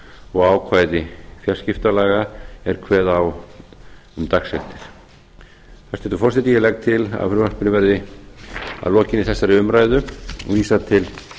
og ákvæði fjarskiptalaga er kveða á um dagsektir hæstvirtur forseti ég legg til að frumvarpinu verði að lokinni þessari umræðu vísað til